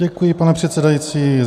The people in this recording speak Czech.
Děkuji, pane předsedající.